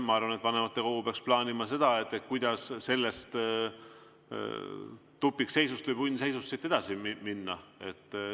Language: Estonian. Ma arvan, et vanematekogu peaks plaanima seda, kuidas sellest tupikseisust või punnseisust edasi minna.